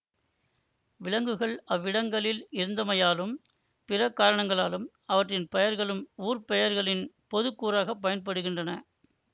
விலங்குகள் அவ்வவ்விடங்களில் இருந்தமையாலும் பிற காரணங்களாலும் அவற்றின் பெயர்களும் ஊர் பெயர்களின் பொது கூறாக பயன்படுகின்றன